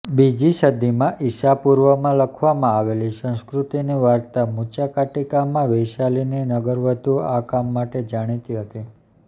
બીજી સદીમાં ઇસાપૂર્વમાં લખવામાં આવેલી સંસ્કૃતની વાર્તા મૃચાકાટિકામાં વૈશાલીની નગરવધુ આ કામ માટે જાણીતી હતી